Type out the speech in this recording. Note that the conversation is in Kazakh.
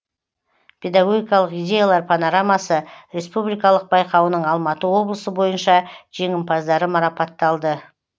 педагогикалық идеялар панорамасы республикалық байқауының алматы облысы бойынша жеңімпаздары марапатталды